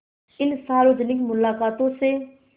इन सार्वजनिक मुलाक़ातों से